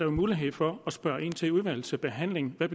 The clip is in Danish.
mulighed for at spørge ind til i udvalgsbehandlingen hvad